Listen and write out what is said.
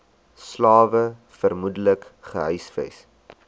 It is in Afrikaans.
slawe vermoedelik gehuisves